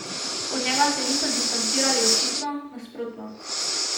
Od njega se niso distancirali očitno, nasprotno.